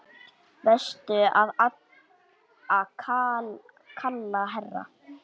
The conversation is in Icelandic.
Varstu að kalla, herra?